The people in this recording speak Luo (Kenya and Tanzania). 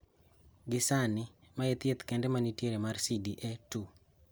Gisani, mae e thieth kende manitiere mar CDA 2.